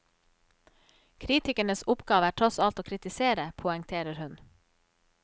Kritikernes oppgave er tross alt å kritisere, poengterer hun.